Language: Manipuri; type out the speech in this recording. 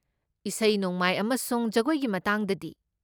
ꯏꯁꯩ ꯅꯣꯡꯃꯥꯏ ꯑꯃꯁꯨꯡ ꯖꯒꯣꯏꯒꯤ ꯃꯇꯥꯡꯗꯗꯤ?